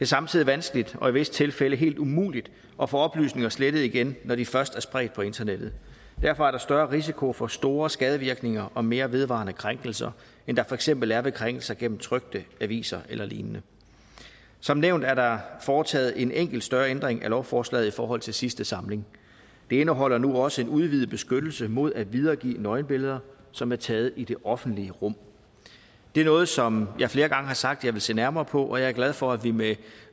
samtidig vanskeligt og i visse tilfælde helt umuligt at få oplysninger slettet igen når de først er spredt på internettet derfor er der større risiko for store skadevirkninger og mere vedvarende krænkelser end der for eksempel er ved krænkelser gennem trykte aviser eller lignende som nævnt er der foretaget en enkelt større ændring af lovforslaget i forhold til sidste samling det indeholder nu også en udvidet beskyttelse mod at videregive nøgenbilleder som er taget i det offentlige rum det er noget som jeg flere gange har sagt jeg vil se nærmere på er jeg er glad for at vi med